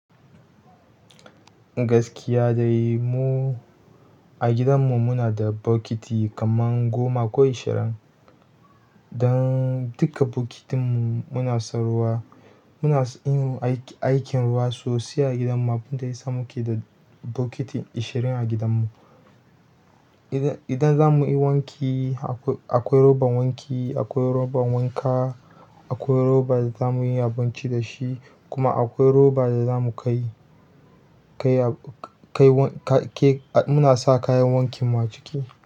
Gaskiya dai mu a gidanmu muna da bokiti kamar goma ko ishirin. Don duka bokitin mu muna son ruwa. Muna son yin aikin ruwa sosai a gidanmu, abun da ya sa muke da bokiti ashirin a gidanmu. Idan, idan za mu yi wanki akwai, akwai roban wanki, akwai roban wanka, akwai roba da za mu yi abinci da shi, kuma akwai roba da za mu kai, kai, kai, kai, muna sa kayan wankinmu a ciki.